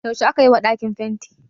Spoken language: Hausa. yaushe aka yi wa dakin fenti?